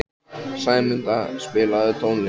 Sæmunda, spilaðu tónlist.